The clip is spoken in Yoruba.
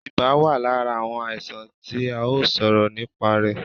Ibà wà lára àwọn àìsàn tí a ó sọ̀rọ̀ nìpa rẹ̀